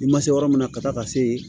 I ma se yɔrɔ min na ka taa ka se yen